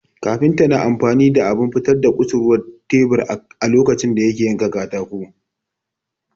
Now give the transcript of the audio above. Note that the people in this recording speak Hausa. Kafinta na amfani da abin fitar da kusurwar tebur a lokacin da yake yanka katako